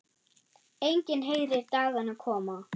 Enginn heyrir dagana koma.